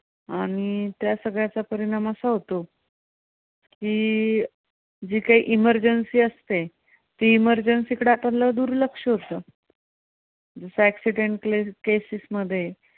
आणि त्या सगळ्याचा परिणाम असा होतो की, जी कांही emergency असते, ती emergency कडे आपलं दुर्लक्ष होतं, accidental cases मध्ये